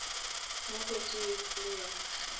mo kotsing e kgolo ya